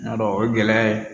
N'a dɔn o ye gɛlɛya ye